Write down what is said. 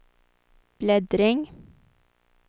bläddring